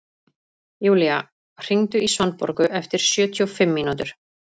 Julia, hringdu í Svanborgu eftir sjötíu og fimm mínútur.